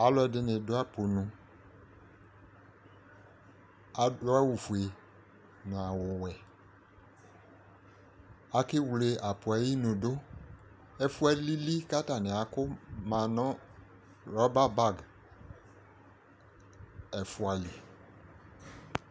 Alʋɛdɩnɩ dʋ apʋnu Adʋ awʋfue nʋ awʋwɛ Akewle apʋ yɛ ayinu dʋ Ɛfʋ yɛ alili kʋ atanɩ akʋ ma nʋ rɔba bag ɛfʋa li